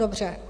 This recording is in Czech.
Dobře.